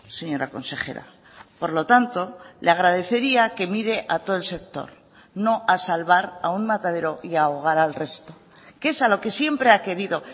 señora consejera por lo tanto le agradecería que mire a todo el sector no a salvar a un matadero y ahogar al resto que es a lo que siempre ha querido